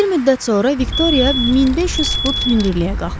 Bir müddət sonra Viktoriya 1500 fut hündürlüyə qalxdı.